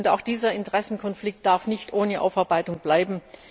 IMG. Auch dieser Interessenkonflikt darf nicht ohne Aufarbeitung bleiben.